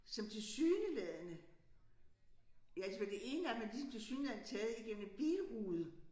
Som tilsyneladende ja altså for det ene af dem er ligesom tilsyneladende taget igennem en bilrude